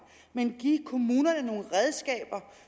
men give kommunerne nogle redskaber